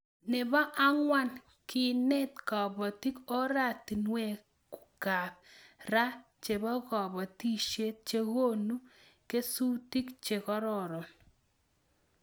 Nebo angwan kenet kobotik oratinwekab ra chebo kobotisiet chekonu kesutik che kororon